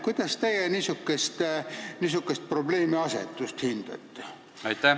Kuidas teie niisugust probleemiasetust hindate?